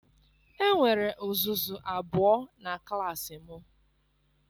Enwere uzuzu abụọ na klaasị m.